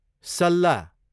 सल्ला